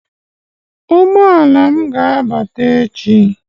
Ụgbọ ala m ga-abata echi.